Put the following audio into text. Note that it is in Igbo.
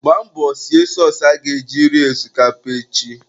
Gbaa mbọ sie sọọsụ aga eji ri osikapa echi.